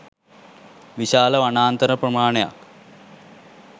විශාල වනාන්තර ප්‍රමාණයක්